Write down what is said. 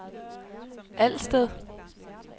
Alsted